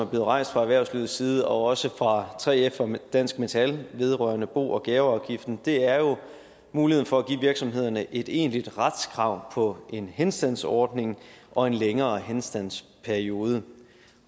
rejst fra erhvervslivets side og også fra 3f og dansk metal vedrørende bo og gaveafgiften er jo om muligheden for at give virksomhederne et egentligt retskrav på en henstandsordning og en længere henstandsperiode